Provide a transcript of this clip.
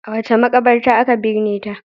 A wace makabartar aka binne ta?